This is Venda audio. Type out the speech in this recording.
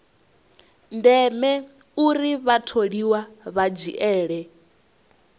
ndeme uri vhatholiwa vha dzhiele